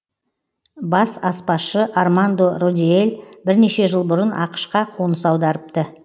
бас аспазшы армандо родиэль бірнеше жыл бұрын ақш қа қоныс аударыпты